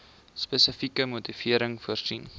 spesifieke motivering voorsien